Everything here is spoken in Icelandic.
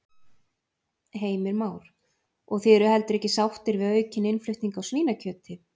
Heimir Már: Og þið eruð heldur ekki sáttir við aukinn innflutning á svínakjöti?